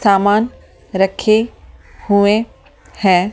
सामान रखे हुए हैं ।